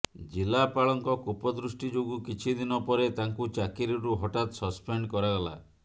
ଜିଲ୍ଲାପାଳଙ୍କ କୋପଦୃଷ୍ଟି ଯୋଗୁଁ କିଛି ଦିନ ପରେ ତାଙ୍କୁ ଚାକିରିରୁ ହଠାତ୍ ସସ୍ପେଣ୍ଡ କରାଗଲା